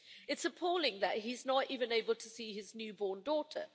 It's appalling that he's not even able to see his new born daughter.